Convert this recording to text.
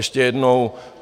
Ještě jednou.